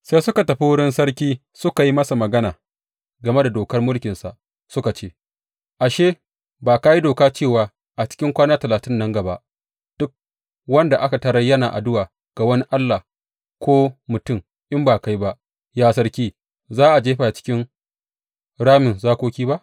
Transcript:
Sai suka tafi wurin sarki suka yi masa magana game da dokar mulkinsa, suka ce, Ashe, ba ka yi doka cewa a cikin kwana talatin nan gaba duk wanda aka tarar yana addu’a ga wani allah ko mutum in ba kai ba, ya sarki, za ka jefa shi a cikin ramin zakoki ba?